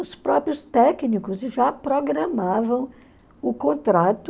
Os próprios técnicos já programavam o contrato